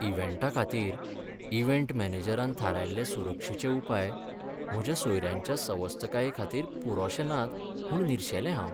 इव्हेंटाखातीर event मॅनेजरान थारायल्ले सुरक्षेचे उपाय म्हज्या सोयऱ्यांच्या सवस्तकायेखातीर पुरोशे नात म्हूण निरशेलें हांव.